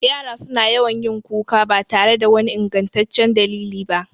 Yara su na yawan yin kuka ba tare da wani ingantaccen dalili ba